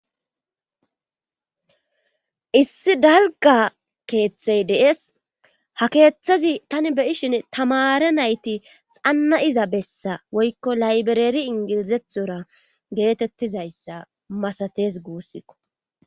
issi dalga keeththey dees ha keeththazi tani beyishin tamara nayti xanna7iza bessa woykko laybereri ingilizethora geetettizayssa masates guussikko